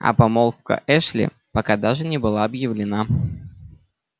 а помолвка эшли пока даже не была объявлена